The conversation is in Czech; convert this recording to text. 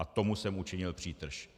A tomu jsem učinil přítrž.